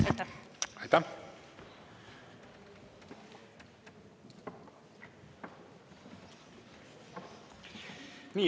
Aitäh!